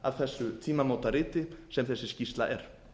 af þessu tímamótariti sem þessi skýrsla er